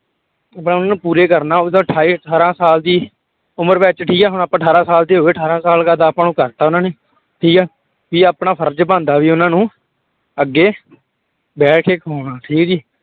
ਆਪਾਂ ਉਹਨਾਂ ਨੂੰ ਪੂਰੇ ਕਰਨਾ ਉਹਦਾ ਅਠਾਈ ਅਠਾਰਾਂ ਸਾਲ ਦੀ ਉਮਰ ਵਿੱਚ ਠੀਕ ਹੈ ਹੁਣ ਆਪਾਂ ਅਠਾਰਾਂ ਸਾਲ ਦੇ ਹੋ ਗਏ, ਅਠਾਰਾਂ ਸਾਲ ਆਪਾਂ ਨੂੰ ਕਰ ਦਿੱਤਾ ਉਹਨਾਂ ਨੇ ਠੀਕ ਹੈ, ਵੀ ਆਪਣਾ ਫ਼ਰਜ਼ ਬਣਦਾ ਵੀ ਉਹਨਾਂ ਨੂੰ ਅੱਗੇ ਬਹਿ ਕੇ ਖਵਾਉਣਾ ਠੀਕ ਹੈ ਜੀ।